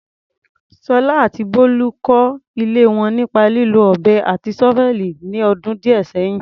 Sola àti Bolu kọ́ ilé wọn nípa lílo ọ̀bẹ àti ṣọ́fẹ́ẹ̀lì ní ọdún díẹ̀ sẹ́yìn.